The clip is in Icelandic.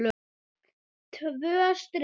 Tvö strik.